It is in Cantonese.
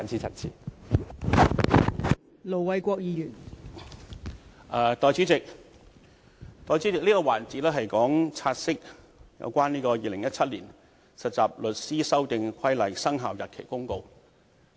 代理主席，這個環節是處理有關《〈2017年實習律師規則〉公告》的"察悉議案"。